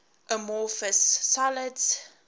amorphous solids